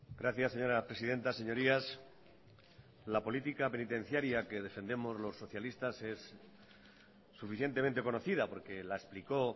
gracias señora presidenta señorías la política penitenciaria que defendemos los socialistas es suficientemente conocida porque la explicó